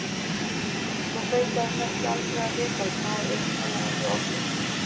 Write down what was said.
Nú fengi hann kannski aldrei að vita hvað um hana hafði orðið.